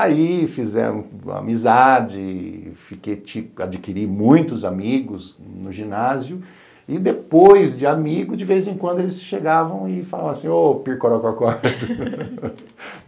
Aí fizemos amizade, fiquei tipo adquiri muitos amigos no ginásio, e depois de amigos, de vez em quando, eles chegavam e falavam assim, ô, Pircorococó